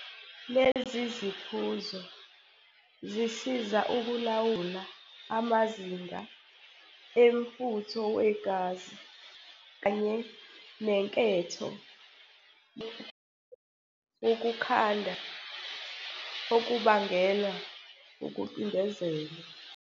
Lezi ziphuzo zisiza ukulawula amazinga emfutho wegazi kanye nenketho yokugwema ukukhanda okubangelwa ukucindezelwa.